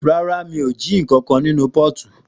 Ràrá ma, mi o mú kànkàn ninu pọti